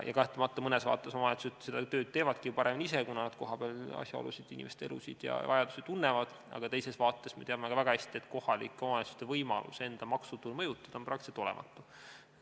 Kahtlemata mõnes vaates omavalitsused teevadki seda tööd paremini ise, kuna nad tunnevad kohapealseid asjaolusid, inimeste elu ja vajadusi, aga teisest küljest me teame ka väga hästi, et kohalike omavalitsuste võimalus enda maksutulu mõjutada on sama hästi kui olematu.